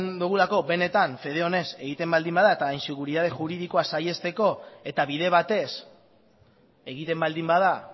dogulako benetan fede onez egiten baldin bada eta inseguridade juridikoa saihesteko eta bide batez egiten baldin bada